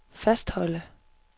fastholde